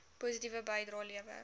positiewe bydrae lewer